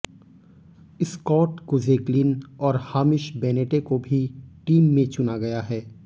Scott Kuggeleijn और Hamish Bennett को भी टीम में चुना गया है